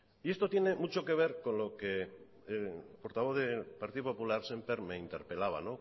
y esto tiene mucho que ver con lo que el portavoz del partido popular sémper me interpelaba